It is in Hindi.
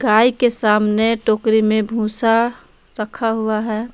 गाय के सामने टोकरी में भूसा रखा हुआ है।